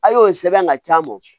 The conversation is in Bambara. A' y'o sɛbɛn ka can bɔ